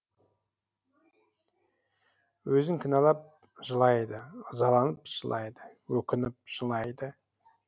өзін кінәлап жылайды ызаланып жылайды өкініп жылайды